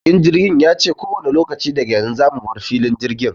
Matuƙin jirgin yace kowanne lokaci daga yanzu zamu bar filin jirgin.